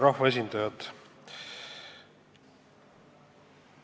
Rahvaesindajad!